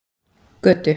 Götu